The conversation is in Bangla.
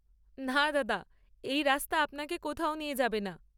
না দাদা, এই রাস্তা আপনাকে কোথাও নিয়ে যাবে না।